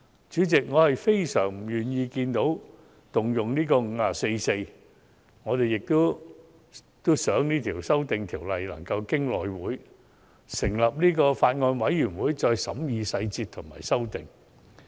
主席，我非常不願意看到引用《議事規則》第544條，而且也希望經內務委員會成立法案委員會審議《條例草案》的細節和提出修訂。